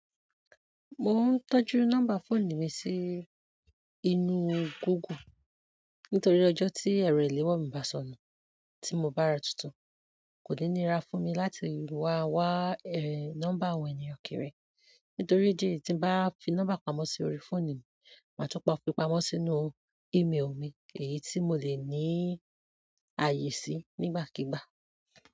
Mo ń tọ́jú nọ́mbà fóònù mi sí inúú Google nítorí ọjọ́ tí ẹ̀rọ ìléwọ́ mi bá sọnù tí mo bá ra tuntun, kò ní níra fún mi láti wá wá ẹ̀ nọ́mbà wọn yen o kéré. Nítorí idí èyí tí ń bá fi nọ́mbà pamọ́ sí orí fóònù mi, màá tún pá fi pamọ́ sínú email mi èyí tí mo le ní ààyè sí nígbàkígbà.